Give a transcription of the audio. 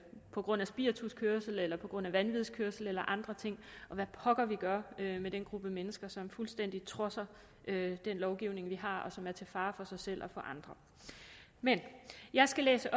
på grund af spirituskørsel eller på grund af vanvidskørsel eller andre ting og hvad pokker vi gør med den gruppe mennesker som fuldstændig trodser den lovgivning vi har og som er til fare for sig selv og for andre men jeg skal læse